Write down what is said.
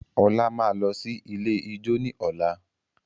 Ola máa lọ sí ilé ijó ní ọ̀la.